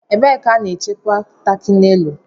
ebe ka a ga-echekwa tákị nélù